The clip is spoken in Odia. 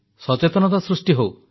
ସଚେତନତା ସୃଷ୍ଟି ହେଉ